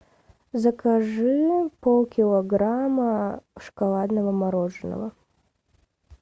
закажи полкилограмма шоколадного мороженого